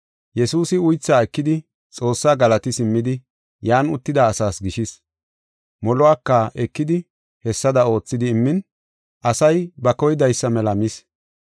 Yesuusi uythaa ekidi Xoossaa galati simmidi yan uttida asaas gishis. Moluwaka ekidi hessada oothidi immin, asay ba koydaysa mela mis.